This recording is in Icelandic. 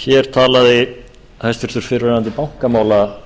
hér talaði hæstvirtur fyrrverandi bankamálaráðherra